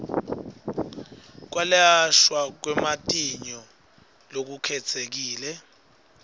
kwelashwa kwematinyo lokukhetsekile